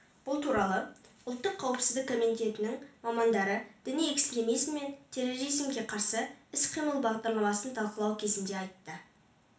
бұл туралы ұлттық қауіпсіздік комитетінің мамандары діни экстремизім мен терроризмге қарсы іс-қимыл бағдарламасын талқылау кезінде айтты